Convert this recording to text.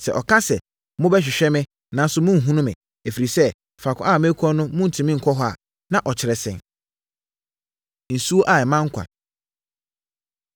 Sɛ ɔka sɛ, ‘Mobɛhwehwɛ me, nanso morenhunu me, ɛfiri sɛ, faako a merekɔ no morentumi nkɔ hɔ’ a, na ɔkyerɛ sɛn?” Nsuo A Ɛma Nkwa